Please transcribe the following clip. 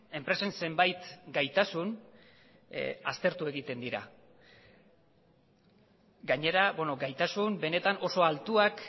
enpresen zenbait gaitasun aztertu egiten dira gainera gaitasun benetan oso altuak